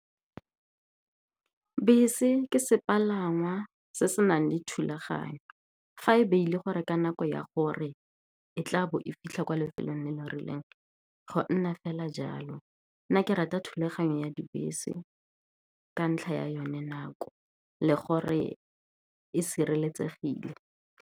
Bese ke sepalangwa se se nang le thulaganyo. Fa e beile gore, ka nako ya gore e tla bo e fitlha kwa lefelong le le rileng, go nna fela jalo. Nna ke rata thulaganyo ya dibese ka ntlha ya yone, nako le gore e sireletsegile.